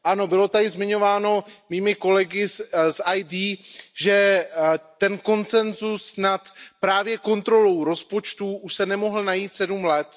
Ano, bylo tady zmiňováno mými kolegy z ID, že ten konsenzus nad právě kontrolou rozpočtu už se nemohl najít 7 let.